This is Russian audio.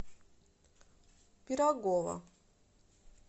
пирогова